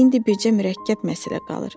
İndi bircə mürəkkəb məsələ qalır.